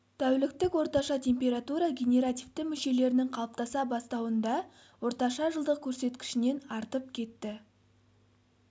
тәуліктік орташа температура генеративті мүшелерінің қалыптаса бастауында орташа жылдық көрсеткішінен артып кетті